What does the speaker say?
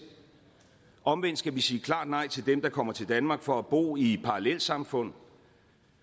omvendt skal vi sige klart nej til dem som kommer til danmark for at bo i parallelsamfund